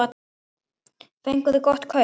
Fenguð þið gott kaup?